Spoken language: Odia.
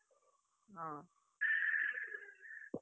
ହଁ ।